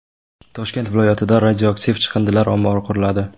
Toshkent viloyatida radioaktiv chiqindilar ombori quriladi.